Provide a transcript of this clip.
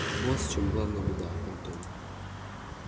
вот в чём главная беда антон